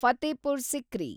Fatehpur Sikri